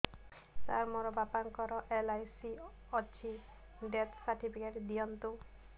ସାର ମୋର ବାପା ଙ୍କର ଏଲ.ଆଇ.ସି ଅଛି ଡେଥ ସର୍ଟିଫିକେଟ ଦିଅନ୍ତୁ